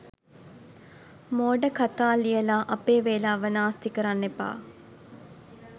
මෝඩ කතා ලියලා අපේ වෙලාව නාස්ති කරන්න එපා.